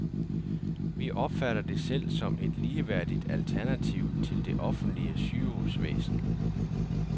Vi opfatter det selv som et ligeværdigt alternativ til det offentlige sygehusvæsen.